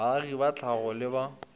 baagi ba tlhago le ba